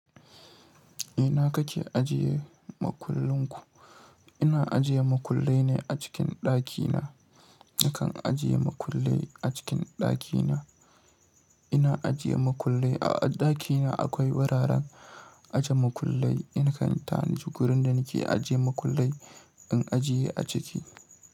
Ina kake ajiye makullin ku? Ina ajiye makullai ne a cikin ɗakina. Nakan ajiye makullai a cikin ɗakina. Ina ajiye makullai a ɗakina. Akwai wuraren aje makullai. Nakan tanaji gurin da nake aje makullai in ajiye a ciki.